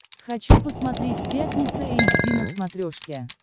хочу посмотреть пятница эйч ди на смотрешке